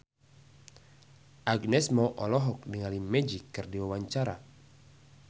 Agnes Mo olohok ningali Magic keur diwawancara